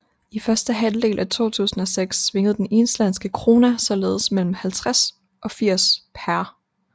I første halvdel af 2006 svingede den islandske króna således mellem 50 og 80 pr